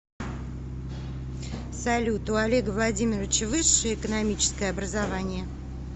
салют у олега владимировича высшее экономическое образование